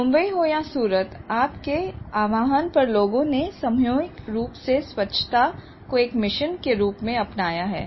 मुंबई हो या सूरत आपके आह्वान पर लोगों ने सामूहिक रूप से स्वच्छता को एक मिशन के रूप में अपनाया है